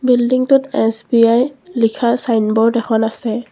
বিল্ডিংটোত এছ_বি_আই লিখা চাইনবোৰ্ড এখন আছে।